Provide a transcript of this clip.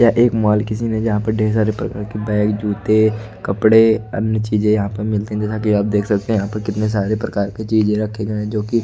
यह एक मॉल किसी ने जहां पर ढेर सारे प्रकार की बैग जूते कपड़े अन्य चीजे यहां पर मिलते आप देख सकते हैं यहां पर कितने सारे प्रकार के चीज रखे गए हैं जो कि